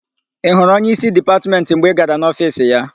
Ị hụrụ onyeísí Dipatmentị mgbe ị gara n'ofiisi ya?